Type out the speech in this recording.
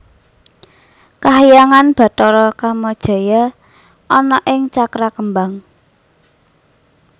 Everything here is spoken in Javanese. Kahyangan Bathara Kamajaya ana ing Cakrakembang